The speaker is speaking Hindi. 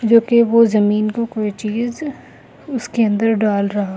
जो कि वो जमीन को कोई चीज उसके अंदर डाल रहा है।